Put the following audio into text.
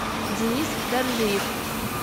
денис доржиев